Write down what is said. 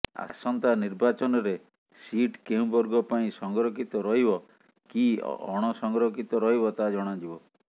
ଆସନ୍ତା ନିର୍ବାଚନରେ ସିଟ୍ କେଉଁ ବର୍ଗ ପାଇଁ ସଂରକ୍ଷିତ ରହିବ କି ଅଣସଂରକ୍ଷିତ ରହିବ ତାହା ଜଣାଯିବ